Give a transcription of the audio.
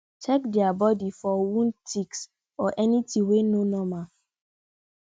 check their body for wound ticks or anything wey no normal